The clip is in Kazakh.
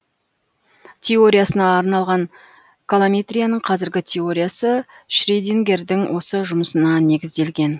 теориясына арналған колометрияның қазіргі теориясы шредингердің осы жұмысына негізделген